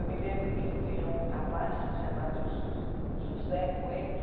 Eu me lembro que tinha um rapaz chamado José Coelho.